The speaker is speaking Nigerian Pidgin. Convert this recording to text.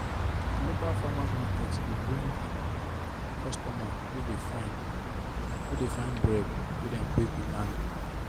na the local farmers market dey bring customers wey dey find wey dey find bread wey them bake with hand.